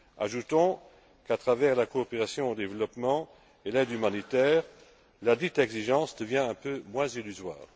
Ajoutons qu'à travers la coopération au développement et l'aide humanitaire, ladite exigence devient un peu moins illusoire.